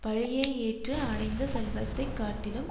பழியை ஏற்று அடைந்த செல்வத்தை காட்டிலும்